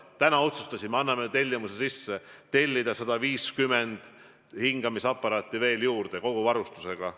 Täna otsustasime, et anname sisse tellimuse tellida 150 hingamisaparaati veel juurde, koos kogu varustusega.